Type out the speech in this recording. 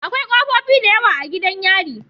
Akwai kofofi da yawa a gidan yari